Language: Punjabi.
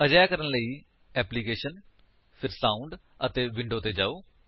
ਅਜਿਹਾ ਕਰਨ ਲਈ ਐਪਲੀਕੇਸ਼ਨ ਜੀਟੀ ਸਾਉਂਡ ਅਤੇ ਵੀਡੀਓ ਤੇ ਜਾਓ